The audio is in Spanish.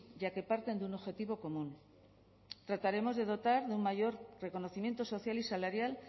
ya que parten de un objetivo común trataremos de dotar de un mayor reconocimiento social y salarial